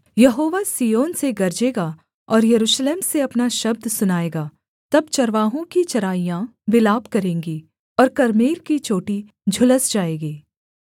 यहोवा Zion से गरजेगा और यरूशलेम से अपना शब्द सुनाएगा तब चरवाहों की चराइयाँ विलाप करेंगी और कर्मेल की चोटी झुलस जाएगी